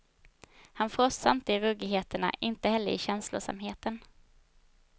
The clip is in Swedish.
Han frossar inte i ruggigheterna, inte heller i känslosamheten.